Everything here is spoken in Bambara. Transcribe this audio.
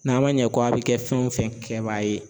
N'a ma ɲɛ k'a be kɛ fɛn wo fɛn kɛbaga ye